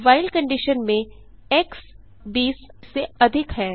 while condition में x 20 अधिक है